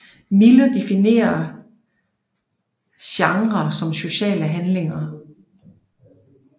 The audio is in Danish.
Miller definerer genrer som sociale handlinger